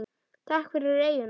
Takk fyrir eyjuna.